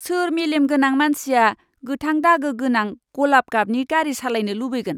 सोर मेलेम गोनां मानसिया गोथां दागो गोनां गलाब गाबनि गारि सालायनो लुबैगोन?